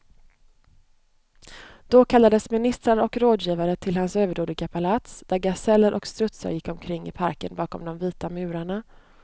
Då kallades ministrar och rådgivare till hans överdådiga palats, där gaseller och strutsar gick omkring i parken bakom de vita murarna.